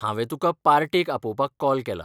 हांवे तुका पार्टेक आपोवपाक कॉल केलां.